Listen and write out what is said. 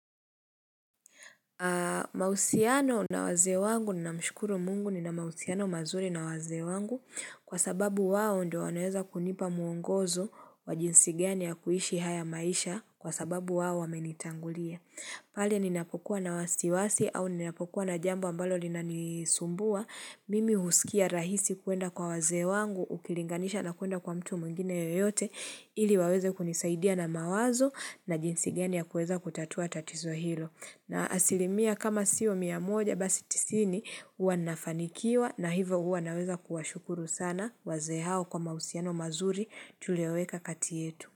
Mahusiano na wazee wangu namshukuru mungu nina mahusiano mazuri na wazee wangu kwa sababu wao ndio wanaeza kunipa muongozo wa jinsi gani ya kuishi haya maisha kwa sababu wao wamenitangulia. Pale ninapokuwa na wasiwasi au ninapokuwa na jambo ambalo linanisumbua, mimi huskia rahisi kuenda kwa wazee wangu, ukilinganisha na kuenda kwa mtu mwingine yeyote ili waweze kunisaidia na mawazo na jinsi gani ya kueza kutatua tatizo hilo. Na asilimia kama sio mia moja basi tisini huwa nafanikiwa na hivo huwa naweza kuwashukuru sana wazee hao kwa mahusiano mazuri tulioweka kati yetu.